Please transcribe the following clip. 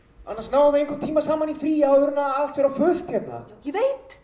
annars náum við engum tíma saman í fríi áður en allt fer á fullt hérna ég veit